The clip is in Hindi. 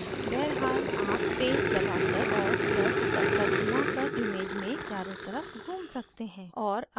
बहरहाल आप space दबाकर और by cursor घुमाकर image में चारों तरफ घूम सकते हैं